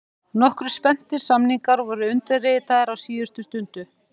Nokkrir spennandi samningar voru undirritaðir á síðustu stundu: